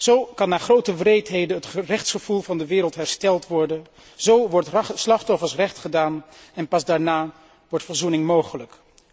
Zo kan na grote wreedheden het rechtsgevoel van de wereld hersteld worden, zo wordt slachtoffers recht gedaan en pas daarna wordt verzoening mogelijk.